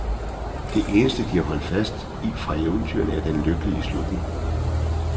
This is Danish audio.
Det eneste, de har holdt fast i fra eventyrene, er den lykkelige slutning.